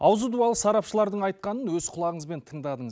аузы дуалы сарапшылардың айтқанын өз құлағыңызбен тыңдадыңыз